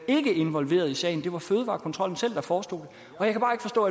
ikke involveret i sagen det var fødevarekontrollen selv der forstå